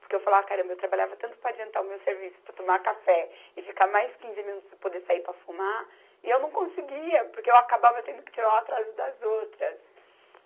Porque eu falava, caramba, eu trabalhava tanto para adiantar o meu serviço, para tomar café e ficar mais quinze minutos sem poder sair para fumar, e eu não conseguia, porque eu acabava tendo que tirar o atraso das outras.